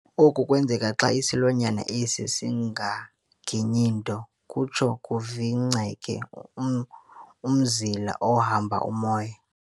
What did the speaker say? oku kwenzeka xa isilwanyana esi singaginyi nto, kutsho kuvingceke umzila ohamba umoya.